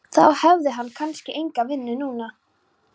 Þá hefði hann kannski enga vinnu núna.